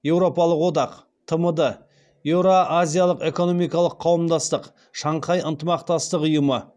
еуропалық одақ тмд еура азиялық экономикалық қауымдастық шанхай ынтымақтастық ұйымы